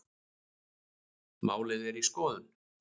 Málið sé í skoðun